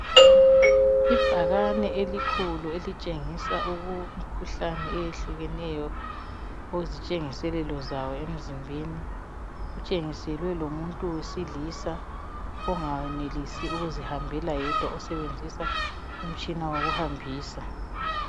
Ibhakane elikhulu, elitshengisa uku...imikhuhlane eyehlukeneyo , ozitshengiselelo zawo emzimbeni. Kutshengiselwe lomuntu wesilisa, ongayenelisi ukuzihambela yedwa. Osebenzisa umtshina wokuhambisa.